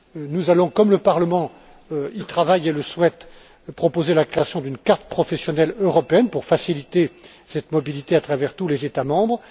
Nous allons comme le Parlement y travaille et le souhaite proposer la création d'une carte professionnelle européenne pour faciliter cette mobilité à travers tous les États membres.